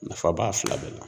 Nafa b'a fila de la.